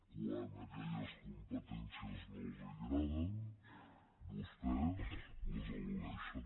quan aquelles competències no els agraden vostès les eludeixen